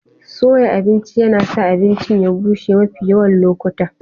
Soya abinci yana sa abincin ya bushe mafi yawan lokuta.